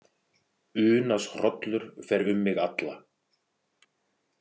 Unaðshrollur fer um mig alla.